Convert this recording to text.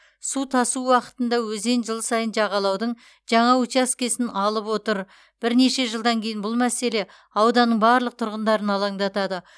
су тасу уақытында өзен жыл сайын жағалаудың жаңа учаскесін алып отыр бірнеше жылдан кейін бұл мәселе ауданның барлық тұрғындарын алаңдатады